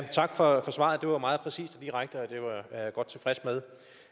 tak for svaret det var meget præcist og direkte og det